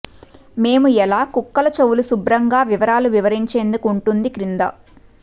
మేము ఎలా కుక్కలు చెవులు శుభ్రంగా వివరాలు వివరించేందుకు ఉంటుంది క్రింద